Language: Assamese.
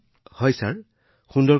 মহোদয় এইটো খুব ভালদৰে চলি আছে